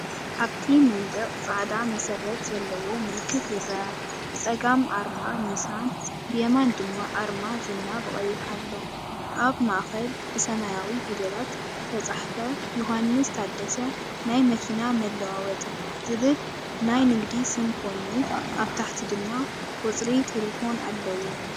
ኣብቲ መንደቕ ጻዕዳ መሰረት ዘለዎ ምልክት ይርአ። ብጸጋም ኣርማ ኒሳን፡ብየማን ድማ ኣርማ ዝና ብቐይሕ ኣሎ። ኣብ ማእከል ብሰማያዊ ፊደላት ዝተጻሕፈ ‘ዮውሃንስ ታደሰ ናይ መኪና መለዋወጢ’ ዝብል ናይ ንግዲ ስም ኮይኑ፡ኣብ ታሕቲ ድማ ቁጽሪ ተሌፎን ኣሎ።